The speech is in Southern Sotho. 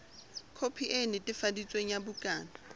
khopi e netefaditsweng ya bukana